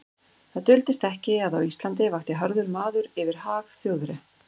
Það duldist ekki, að á Íslandi vakti harður maður yfir hag Þjóðverja.